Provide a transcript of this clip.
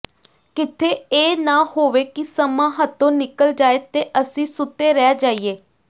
ਕਿਥੇ ਇਹ ਨ ਹੋਵੇ ਕਿ ਸਮਾਂ ਹੱਥੋਂ ਨਿਕਲ ਜਾਏ ਤੇ ਅਸੀਂ ਸੁਤੇ ਰਹਿ ਜਾਈਏ